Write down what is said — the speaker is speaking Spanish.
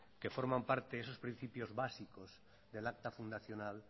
que forman parte esos principios básicos del acta fundacional